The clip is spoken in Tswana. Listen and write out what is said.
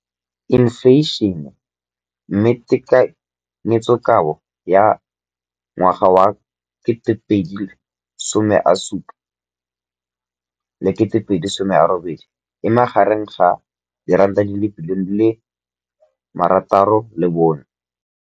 Infleišene, mme tekanyetsokabo ya 2017, 18, e magareng ga R6.4 bilione.